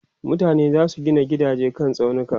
mutane zasu Gina gidaje kan tsaunuka